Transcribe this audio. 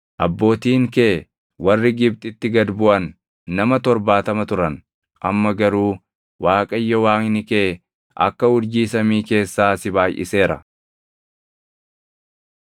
Abbootiin kee warri Gibxitti gad buʼan nama torbaatama turan; amma garuu Waaqayyo Waaqni kee akka urjii samii keessaa si baayʼiseera.